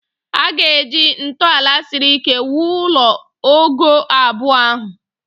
A ga-eji ntọala siri ike wuo ụlọ ogoo abụọ ahụ